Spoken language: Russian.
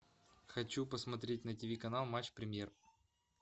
хочу посмотреть на тиви канал матч премьер